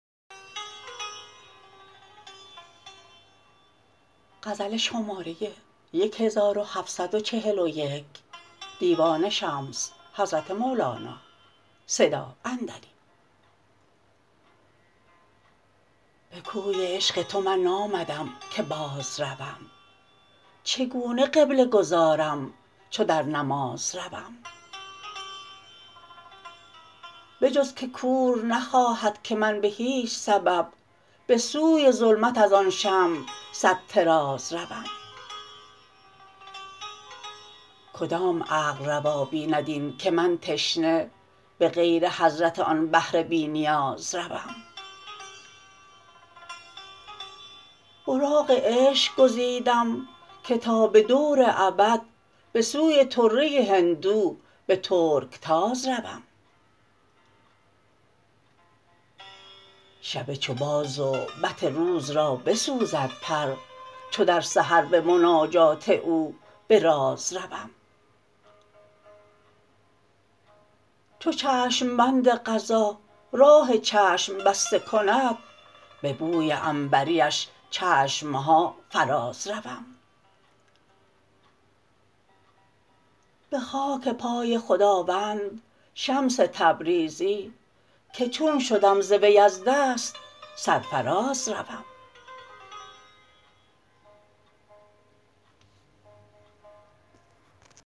به کوی عشق تو من نامدم که بازروم چگونه قبله گذارم چو در نماز روم به جز که کور نخواهد که من به هیچ سبب به سوی ظلمت از آن شمع صد طراز روم کدام عقل روا بیند این که من تشنه به غیر حضرت آن بحر بی نیاز روم براق عشق گزیدم که تا به دور ابد به سوی طره هندو به ترکتاز روم شب چو باز و بط روز را بسوزد پر چو در سحر به مناجات او به راز روم چو چشم بند قضا راه چشم بسته کند به بوی عنبریش چشم ها فرازروم به خاک پای خداوند شمس تبریزی که چون شدم ز وی از دست سرفراز روم